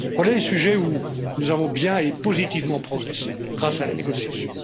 Voilà les sujets où nous avons bien et positivement progressé grâce à la négociation.